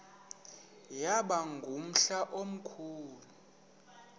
yaba ngumhla omkhulu